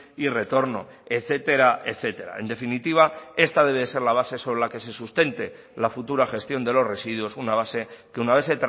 y retorno etcétera etcétera en definitiva esta debe ser la base sobre la que se sustente la futura gestión de los residuos una base que una vez